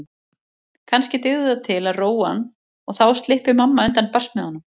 Kannski dygði það til að róa hann og þá slyppi mamma undan barsmíðunum.